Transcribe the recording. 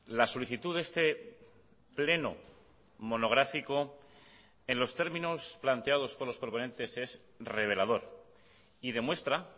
la solicitud de este pleno monográfico en los términos planteados por los proponentes es revelador y demuestra